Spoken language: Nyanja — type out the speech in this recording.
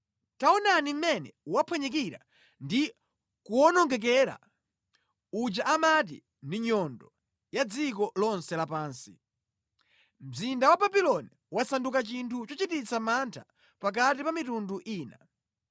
Taonani mʼmene waphwanyikira ndi kuwonongekera uja amati ndi nyundo ya dziko lonse lapansi. Mzinda wa Babuloni wasanduka chinthu chochititsa mantha pakati pa mitundu ina!